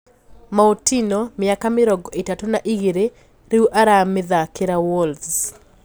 Moutinho, miaka mĩrongo itatũ na igĩrĩ, riu aramithakira Wolves.